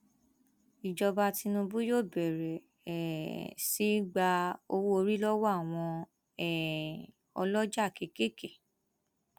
ìjọba tìǹbù yóò bẹrẹ um sí í gba owóorí lọwọ àwọn um ọlọjà kéékèèké